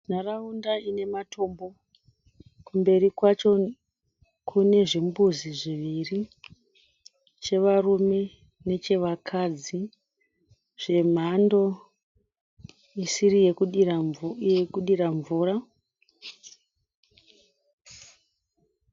Nharaunda ine matombo. Kumberi kwacho kune zvimbuzi zviviri. Chevarume nechevakadzi zvemhando isiri yekudira mvura.